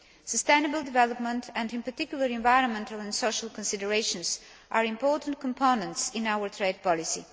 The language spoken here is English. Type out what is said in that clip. Sustainable development and, in particular, environmental and social considerations are important components in our trade policy.